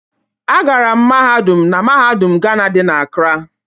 Agara m mahadum na mahadum Gana dị na Acara.